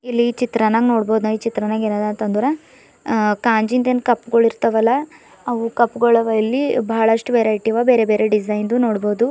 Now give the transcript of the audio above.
ಇಲ್ಲಿ ಈ ಚಿತ್ರಾನ್ನಗ್ ನೋಡಬಹುದ್ ಈ ಚಿತ್ರನ್ಯಾಗ್ ಏನ್ ಆದಂತಂದ್ರ ಕಾಂಜಿನ ಕಪ್ ಗಳಿರ್ತಾವಲ್ಲ ಅವು ಕಪ್ ಗಳಿವಾ ಇಲ್ಲಿ ಬಹಳಷ್ಟು ವೆರೈಟಿ ಬೇರೆ ಬೇರೆ ಡಿಸೈನ್ ಇದು ನೋಡಬಹುದು.